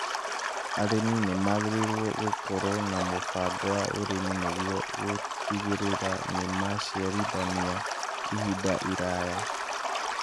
Arĩmi nĩ magĩrĩirũo gũkorũo na mũbango wa ũrimi nĩguo gũtigĩrĩra nĩ maraciarithania ihinda iraya